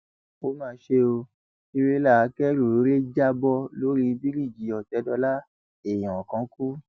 ó mà ṣe ọ tírélà akẹrù rẹ já bọ lórí bíríìjì òtẹdọlà èèyàn kan kú